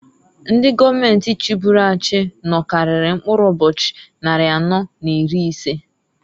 Ndi gọọmenti chiburu achị nọkarịrị mkpụrụ ụbochị nnarị anọọ n'iri ise.